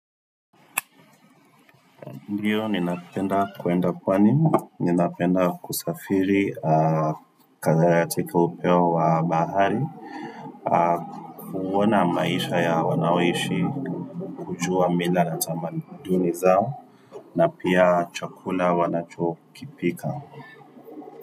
Ndiyo, ninapenda kwenda pwani, ninapenda kusafiri, aa kazatika upeo wa bahari Kuwona maisha ya wanaoishi, kujua mila na tamaduni zao na pia chakula wanachokipika.